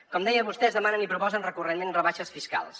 com deia vostès demanen i proposen recurrentment rebaixes fiscals